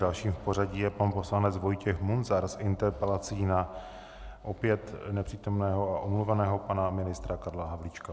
Dalším v pořadí je pan poslanec Vojtěch Munzar s interpelací na opět nepřítomného a omluveného pana ministra Karla Havlíčka.